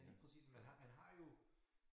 Ja lige præcis man har man har jo